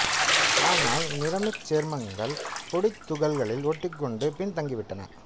ஆனால் நிறமிச் சேர்மங்கள் பொடித் துகள்களில் ஒட்டிக் கொண்டு பின் தங்கிவிட்டன